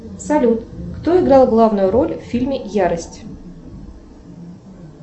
салют кто играл главную роль в фильме ярость